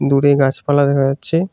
দূরে গাছপালা দেখা যাচ্ছে।